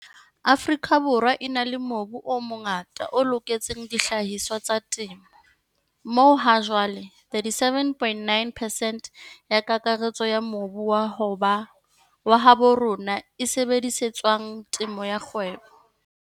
Afrika Borwa e na le mobu o mongata o loketseng dihlahiswa tsa temo, moo hajwale 37,9 percent ya kakaretso ya mobu wa habo rona e sebedisetswang temo ya kgwebo.